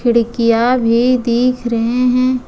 खिड़कियां भी दिख रहे हैं।